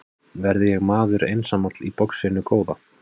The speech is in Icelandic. Verð ég maður einsamall í boxinu góða?